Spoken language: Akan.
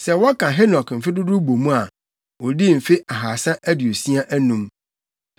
Sɛ wɔka Henok mfe dodow bɔ mu a, odii mfe ahaasa aduosia anum.